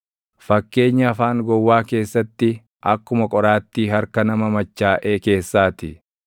Fakkeenyi afaan gowwaa keessatti akkuma qoraattii harka nama machaaʼee keessaa ti.